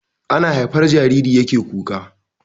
Ana haifar jariri yake kura